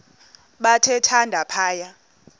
bathe thande phaya